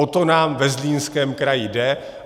O to nám ve Zlínském kraji jde.